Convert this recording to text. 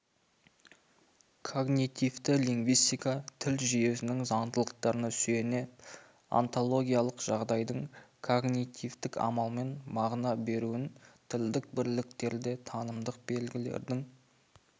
когнитивті лингвистика тіл жүйесінің заңдылықтарына сүйеніп онтологиялық жағдайдың когнитивтік амалмен мағына беруін тілдік бірліктерде танымдық белгілердің